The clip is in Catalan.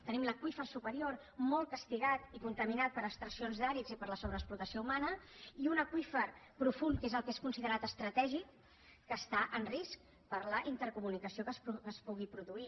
tenim l’aqüífer superior molt castigat i contaminat per extraccions d’àrids i per la sobreexplotació humana i un aqüífer profund que és el que és considerat estratègic que està en risc per la intercomunicació que es pugui produir